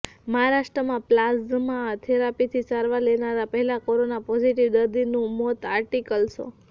મહારાષ્ટ્રમાં પ્લાઝમા થેરપીથી સારવાર લેનારા પહેલા કોરોના પોઝિટિવ દર્દીનું મોત આર્ટિકલ શો